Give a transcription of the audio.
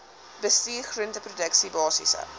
bestuur groenteproduksie basiese